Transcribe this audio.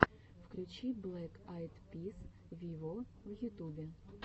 включи блэк айд пис виво в ютубе